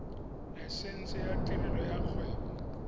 laesense ya tirelo ya kgwebo